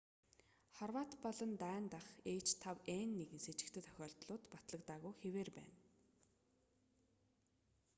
хорват болон дани дахь h5n1-н сэжигтэй тохиолдлууд батлагдаагүй хэвээр байна